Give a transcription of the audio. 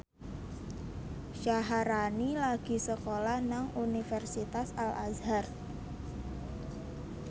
Syaharani lagi sekolah nang Universitas Al Azhar